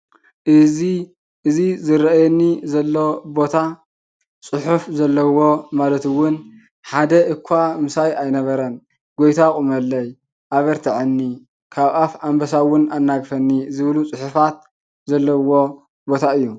እዚ እዚ ዝርአየኒ ዘሎ ቦታ ፅሕፍ ዘለዎ ማለት እውን ሓደ እኳ ምስይ ኣይነበረን ; ጎይታ ቑመለይ; ኣብርትዒኒ; ካብ ኣፍ ኣንበሳ እውን ኣናገፈኒ ዝብሉ ፅሕፋት ዘለዎ ቦታ እዩ።